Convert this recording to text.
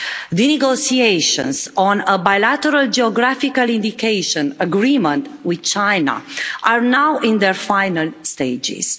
The negotiations on a bilateral geographical indication agreement with China are now in their final stages.